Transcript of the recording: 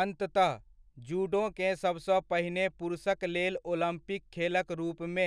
अन्ततः, जूडोकेँ सबसँ पहिने पुरुषकलेल ओलम्पिक खेलक रूपमे